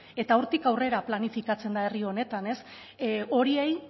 eta hortik aurrera planifikatzen da herri honetan ez horiei